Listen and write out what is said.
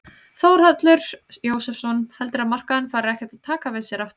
Þórhallur Jósefsson: Heldurðu að markaðurinn fari ekkert að taka við sér aftur?